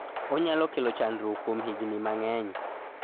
onyalo kelo chanduok kuom higni mang'eny